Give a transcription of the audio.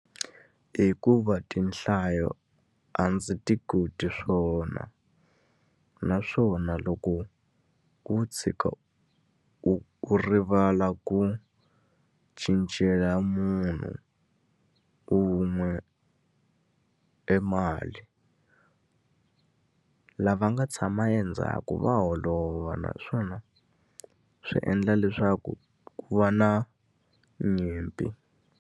Hikuva tinhlayo a ndzi ti koti swona. Naswona loko wo tshuka u u rivala ku cincela munhu un'we e mali, lava nga tshama endzhaku va holova. Naswona swi endla leswaku ku va na nyimpi.